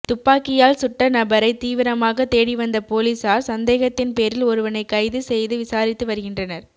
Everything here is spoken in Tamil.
துப்பாக்கியால் சுட்ட நபரை தீவிரமாக தேடி வந்த போலீசார் சந்தேகத்தின் பேரில் ஒருவனை கைது செய்து விசாரித்து வருகின்றனர்